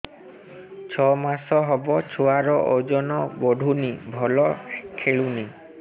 ଛଅ ମାସ ହବ ଛୁଆର ଓଜନ ବଢୁନି ଭଲ ଖେଳୁନି